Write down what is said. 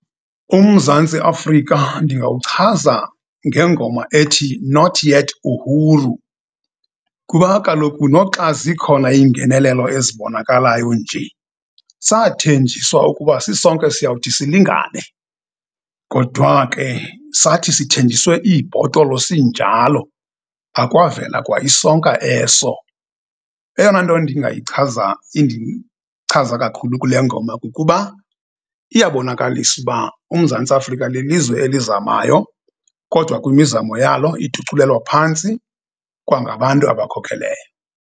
UMzantsi Afrika ndingawuchaza ngengoma ethi Not Yet Uhuru, kuba kaloku noxa zikhona iingenelelo ezibonakalayo nje, sathenjiswa ukuba sisonke siyawuthi silingane, kodwa ke, sathi sithenjiswe iibhotolo sinjalo, akwavele kwa isonka eso. Eyona nto ndingayichaza, indichaza kakhulu kule ngoma, kukuba iyabonakalisa uba uMzantsi Afrika lilizwe elizamayo, kodwa kwimizamo yalo ituculelwa phantsi kwangabantu abakhokheleyo.